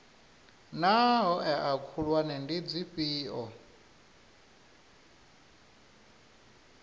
naa hoea khulwane ndi dzifhio